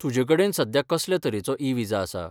तुजे कडेन सद्या कसले तरेचो ई विजा आसा?